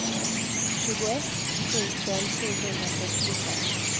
tjugoett tusen sjuhundrasextiofem